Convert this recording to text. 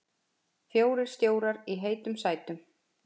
Fjórir stjórar í heitum sætum